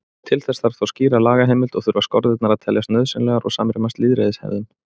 Til þess þarf þó skýra lagaheimild og þurfa skorðurnar að teljast nauðsynlegar og samrýmast lýðræðishefðum.